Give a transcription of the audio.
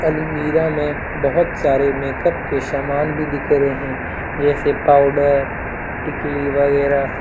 अलमीरा में बहुत सारे मेकअप के सामान भी दिख रहे हैं जैसे पाउडर टिकली वगैरह।